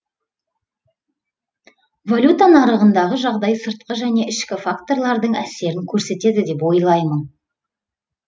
валюта нарығындағы жағдай сыртқы және ішкі факторлардың әсерін көрсетеді деп ойлаймын